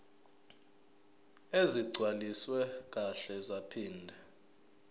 ezigcwaliswe kahle zaphinde